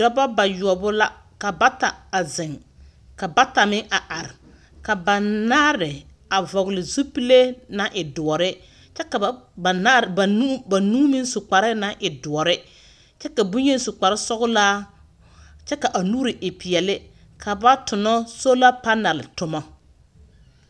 Dɔba bayoɔwo la, ka bata a zeŋ, ka bata meŋ a ar. Ka banaare a vɔgle zupilee naŋ e doɔre, kyɛ ka baŋ ba naare banuu banuu meŋ su kparee naŋ e doɔre. Kyɛ ka boyeni su kparsɔglaa, kyɛ ka a nuuri e peɛle ka ba tono sola panɛl tomo.